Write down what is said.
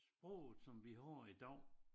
Sproget som vi har i dag